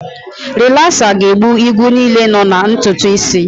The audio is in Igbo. Rilasa ga-egbu igwu niile nọ na ntutu isi.